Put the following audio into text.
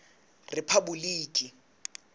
rephaboliki